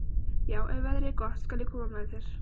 Já, ef veðrið er gott skal ég koma með þér.